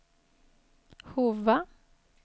Hova